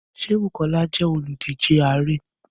Ṣé Bùkọ́lá jẹ́ olùdíje ààrẹ́?